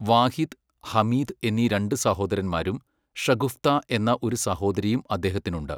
വാഹിദ്, ഹമീദ് എന്നീ രണ്ട് സഹോദരന്മാരും ഷഗുഫ്താ എന്ന ഒരു സഹോദരിയും അദ്ദേഹത്തിനുണ്ട്.